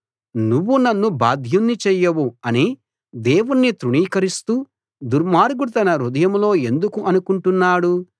నువ్వు నన్ను బాధ్యుణ్ణి చెయ్యవు అని దేవుణ్ణి తృణీకరిస్తూ దుర్మార్గుడు తన హృదయంలో ఎందుకు అనుకుంటున్నాడు